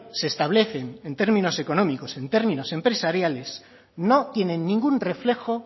se establecen en términos económicos en términos empresariales no tienen ningún reflejo